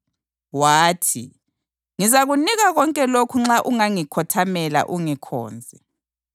Wathi, “Ngizakunika konke lokhu nxa ungangikhothamela, ungikhonze.”